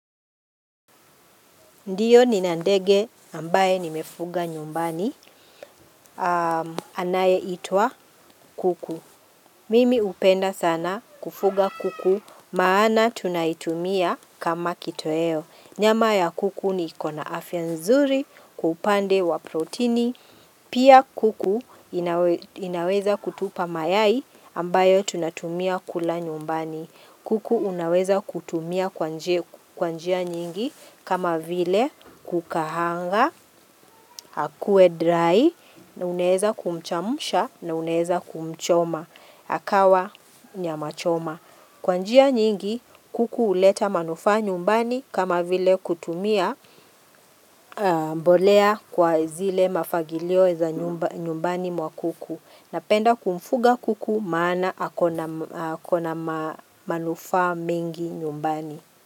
Ndiyo nina ndege ambaye nimefuga nyumbani. Anayeitwa kuku. Mimi hupenda sana kufuga kuku maana tunaitumia kama kitoweo. Nyama ya kuku iko na afya nzuri kwa upande wa protini. Pia kuku inaweza kutupa mayai ambayo tunatumia kula nyumbani. Kuku unaweza kutumia kwa njia nyingi kama vile kukaanga, akue dry na uneweza kumchemsha na uneweza kumchoma, akawa nyama choma. Kwa njia nyingi kuku huleta manufaa nyumbani kama vile kutumia mbolea kwa zile mafagilio za nyumbani mwa kuku. Napenda kumfuga kuku maana akona manufaa mingi nyumbani.